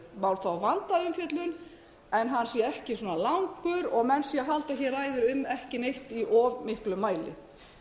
má fá vandaða umfjöllun en hann sé svona langur og menn séu að halda ræðu um ekki neitt í of miklum mæli